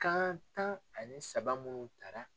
Kan tan ani saba munnu tara.